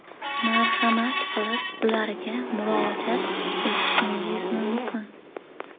Marhamat qilib ularga murojaat etishingiz mumkin.